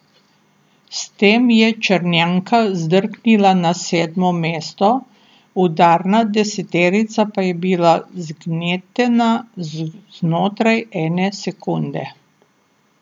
S tem je Črnjanka zdrknila na sedmo mesto, udarna deseterica pa je bila zgnetena znotraj ene sekunde.